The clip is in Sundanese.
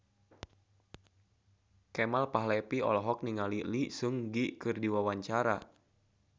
Kemal Palevi olohok ningali Lee Seung Gi keur diwawancara